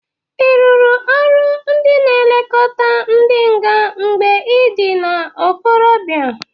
Ị rụrụ ọrụ ndị na-elokota ndị nga mgbe ị dị n'ikorobịa?